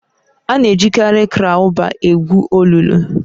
Ana-ejikarị kraụbaa egwu olulu.